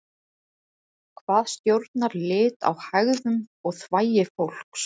hvað stjórnar lit á hægðum og þvagi fólks